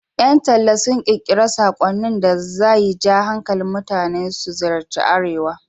Ƴan talla sun ƙirƙiri saƙonnin da za ja hankalin mutane su ziyarci Arewa.